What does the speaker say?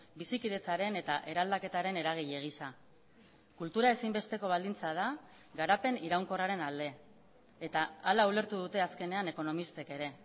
bizikidetzaren eta eraldaketaren eragile gisa kultura ezinbesteko baldintza da garapen iraunkorraren alde eta hala ulertu dute azkenean ekonomistek ere